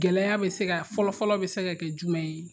Gɛlɛya be se ka fɔlɔ fɔlɔ be se ka kɛ jumɛn ye ?